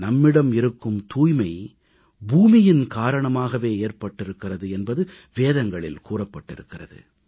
நம்மிடம் இருக்கும் தூய்மை பூமியின் காரணமாகவே ஏற்பட்டிருக்கிறது என்பது வேதங்களில் கூறப்பட்டிருக்கிறது